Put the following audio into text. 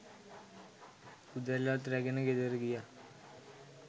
උදැල්ලත් රැගෙන ගෙදර ගියා.